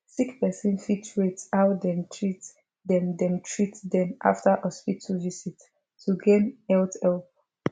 sick person fit rate how dem treat dem dem treat dem after hospital visit to gain health help